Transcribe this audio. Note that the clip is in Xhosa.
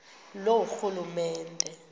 loorhulumente